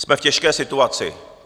Jsme v těžké situaci.